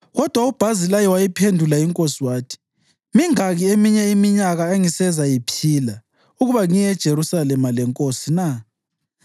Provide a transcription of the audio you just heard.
Kodwa uBhazilayi wayiphendula inkosi wathi, “Mingaki eminye iminyaka engisezayiphila, ukuba ngiye eJerusalema lenkosi na?